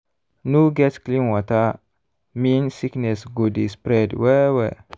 no get clean water mean sickness go dey spread well-well.